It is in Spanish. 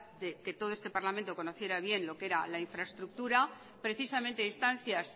que todo este parlamento conociera bien lo que era la infraestructura precisamente a instancias